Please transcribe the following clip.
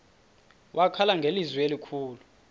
wakhala ngelizwi elikhulu